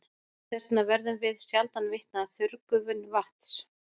Þess vegna verðum við sjaldan vitni að þurrgufun vatns.